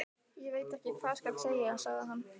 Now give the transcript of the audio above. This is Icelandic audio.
Ég veit ekki hvað skal segja sagði hann.